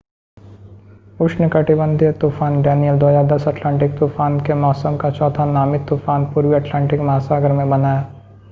उष्णकटिबंधीय तूफ़ान Danielle 2010 Atlantic तूफान के मौसम का चौथा नामित तूफ़ान पूर्वी अटलांटिक महासागर में बना है